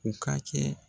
U ka kɛ